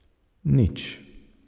Nič.